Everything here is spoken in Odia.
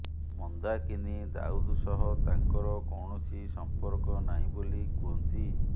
ମନ୍ଦାକିନି ଦାଉଦ ସହ ତାଙ୍କର କୌଣସି ସମ୍ପର୍କ ନାହିଁ ବୋଲି କୁହନ୍ତି